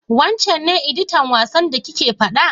Wancen ne editan wasan da kike faɗa?